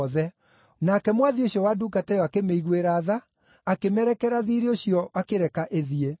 Nake mwathi ũcio wa ndungata ĩyo akĩmĩiguĩra tha, akĩmĩrekera thiirĩ ũcio akĩreka ĩthiĩ.